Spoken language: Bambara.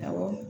Awɔ